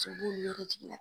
cobo ɲɛ be jig'i la